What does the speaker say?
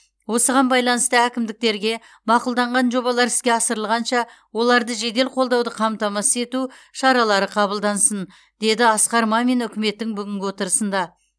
осыған байланысты әкімдіктерге мақұлданған жобалар іске асырылғанша оларды жедел қолдауды қамтамасыз ету шаралары қабылдансын деді асқар мамин үкіметтің бүгінгі отырысында